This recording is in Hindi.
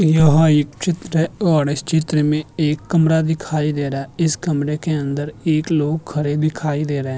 यह एक चित्र है और इस चित्र में एक कमरा दिखाई दे रहा है इस कमरे के अंदर एक लोग खडे दिखाई दे रहे है।